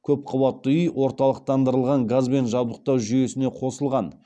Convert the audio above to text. көпқабатты үй орталықтандырылған газбен жабдықтау жүйесіне қосылған